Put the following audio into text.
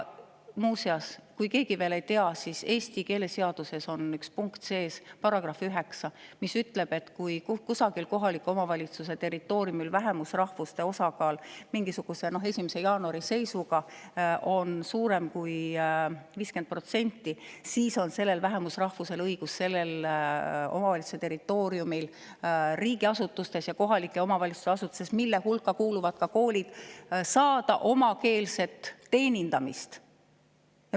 Muuseas, kui keegi veel ei tea, siis Eesti keeleseaduse §-s 9 on, mis ütleb, et kui kohaliku omavalitsuse territooriumil on vähemusrahvuse osakaal mingisuguse 1. jaanuari seisuga suurem kui 50%, siis on sellel vähemusrahvusel õigus sellel omavalitsuse territooriumil riigiasutustes ja kohaliku omavalitsuse asutustes, mille hulka kuuluvad ka koolid, saada omakeelset teenindamist.